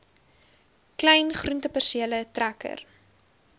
klein groentepersele trekker